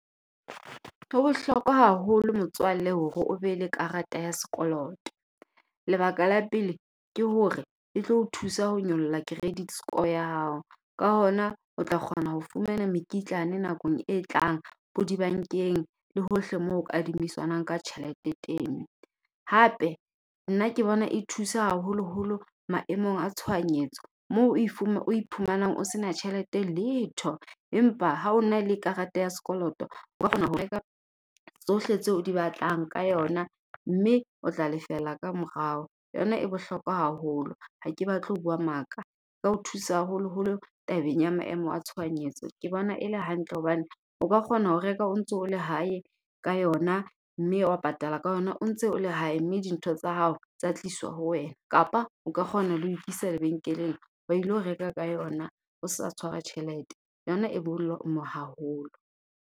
Ho bohlokwa haholo motswalle hore o be le karata ya sekoloto. Lebaka la pele ke hore e tlo o thusa ho nyolla credit score ya hao. Ka hona o tla kgona ho fumana mekitlane nakong e tlang ho dibankeng, le hohle mo kadimisanwang ka tjhelete teng. Hape nna ke bona e thusa haholoholo maemong a tshohanyetso mo a iphumanang o sena tjhelete letho, empa ha o na le kareta ya sekolotoo o kgona ho reka tsohle tse o di batlang ka yona. Mme o tla lefela ka morao, yona e bohlokwa haholo. Ha ke batle ho bua maka ka ho thusa haholoholo tabeng ya maemo a tshohanyetso. Ke bona e le hantle hobane o ka kgona ho reka o ntso o le hae ka yona, mme wa patala ka yona o ntse o le hae. Mme di ntho tsa hao tsa tliswa ho wena kapa o ka kgona le ho ikisa lebenkeleng wa ilo reka ka yona, o sa tshwara tjhelete yona e haholo.